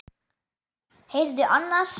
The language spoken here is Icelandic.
Heyrðu annars.